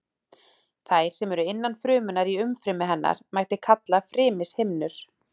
Þær sem eru innan frumunnar í umfrymi hennar mætti kalla frymishimnur.